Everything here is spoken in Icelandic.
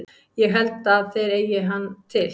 Ég held að þeir eigi hann til.